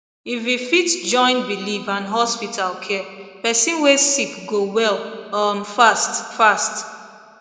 if we fit join believe and hospital care person way sick go well um fast fast